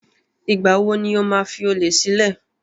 Ìgbà wo ni o máa fi olè sílẹ̀?